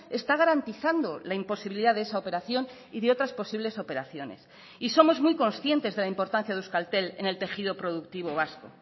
está garantizando la imposibilidad de esa operación y de otras posibles operaciones y somos muy conscientes de la importancia de euskaltel en el tejido productivo vasco